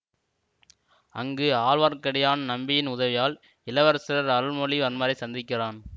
அங்கு ஆழ்வார்க்கடியான் நம்பியின் உதவியால் இளவரசர் அருள்மொழி வர்மரை சந்திக்கிறான்